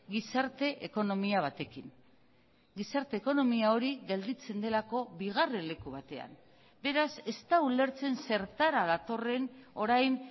gizarte ekonomia batekin gizarte ekonomia hori gelditzen delako bigarren leku batean beraz ez da ulertzen zertara datorren orain